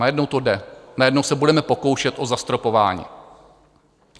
Najednou to jde, najednou se budeme pokoušet o zastropování.